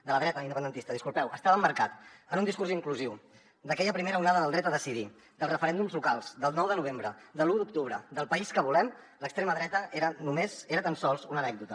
de la dreta independentista disculpeu estava emmarcat en un discurs inclusiu d’aquella primera onada del dret a decidir dels referèndums locals del nou de novembre de l’un d’octubre del país que volem l’extrema dreta era només era tan sols una anècdota